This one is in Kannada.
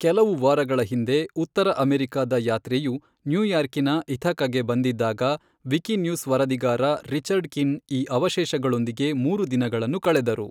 ಕೆಲವು ವಾರಗಳ ಹಿಂದೆ ಉತ್ತರ ಅಮೆರಿಕದ ಯಾತ್ರೆಯು ನ್ಯೂಯಾರ್ಕಿನ ಇಥಕಗೆ ಬಂದಿದ್ದಾಗ ವಿಕಿನ್ಯೂಸ್ ವರದಿಗಾರ ರಿಚರ್ಡ್ ಕಿನ್ ಈ ಅವಶೇಷಗಳೊಂದಿಗೆ ಮೂರು ದಿನಗಳನ್ನು ಕಳೆದರು.